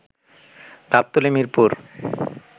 Gabtali, Mirpur